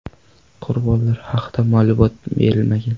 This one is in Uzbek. Qurbonlar haqida ma’lumot berilmagan.